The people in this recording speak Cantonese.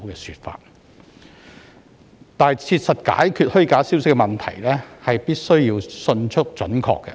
要切實解決虛假消息的問題，動作必需迅速及準確。